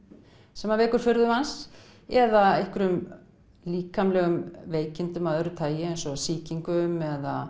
sem vekur furðu manns eða einhverjum líkamlegum veikindum að öðru tagi eins og sýkingum